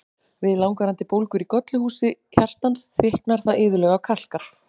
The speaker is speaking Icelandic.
Við langvarandi bólgur í gollurhúsi hjartans, þykknar það iðulega og kalkar.